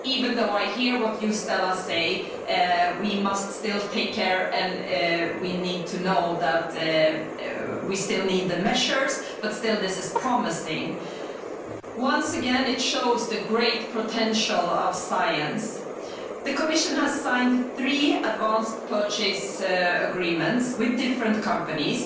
Even though I hear, Stella, what you say we must still take care and we need to know that we still need the measures but still this is promising. Once again it shows the great potential of science. The Commission has signed three advance purchase agreements with different companies.